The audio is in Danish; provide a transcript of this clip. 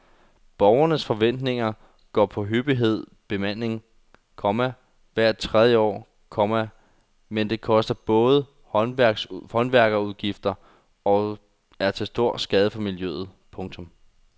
Beboernes forventninger går på hyppig bemaling, komma hvert tredje år, komma men det koster både i håndværkerudgifter og er til skade for miljøet. punktum